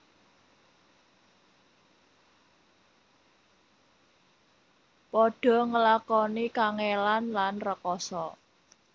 Padha ngelakoni kangèlan lan rekasa